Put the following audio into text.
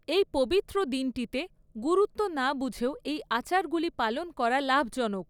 এই পবিত্র দিনটিতে, গুরুত্ব না বুঝেও এই আচারগুলি পালন করা লাভজনক।